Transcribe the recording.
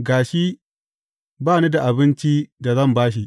Ga shi, ba ni da abinci da zan ba shi.’